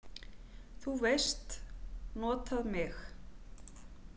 þú veist, notað mig?